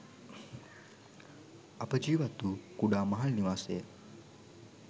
අප ජීවත් වූ කුඩා මහල් නිවාසය